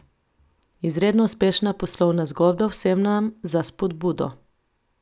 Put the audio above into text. Izredno uspešna poslovna zgodba, vsem nam za spodbudo.